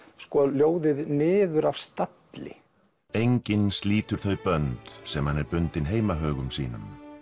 ljóðið niður af stalli enginn slítur þau bönd sem hann er bundinn heimahögum sínum